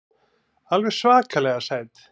Alveg svakalega sæt.